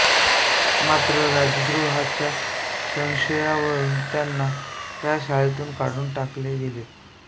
मात्र राजद्रोहाच्या संशयावरून त्यांना त्या शाळेतून काढून टाकले गेले